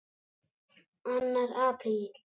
ANNAR APRÍL